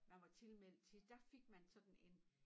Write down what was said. Man var tilmeldt til der fik man sådan en